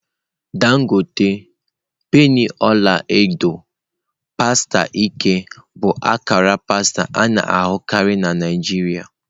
Dangote, penny ọla edo, pasta ike bụ akara pasta a na-ahụkarị na Naijiria.